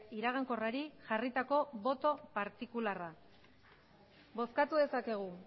iragankorrari jarritako boto partikularra bozkatu dezakegu